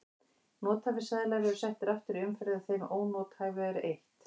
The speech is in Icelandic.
Nothæfir seðlar eru settir aftur í umferð en þeim ónothæfu er eytt.